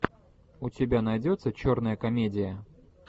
у тебя найдется черная комедия